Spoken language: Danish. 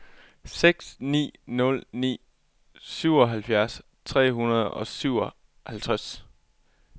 seks ni nul ni syvoghalvfjerds tre hundrede og syvoghalvtreds